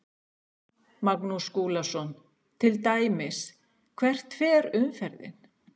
Magnús Skúlason: Til dæmis hvert fer umferðin?